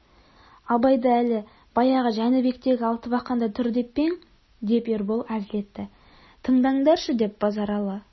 абайды әлі баяғы жәнібектегі алтыбақанда тұр деп пе ең деп ербол әзіл етті тыңдандаршы деп базаралы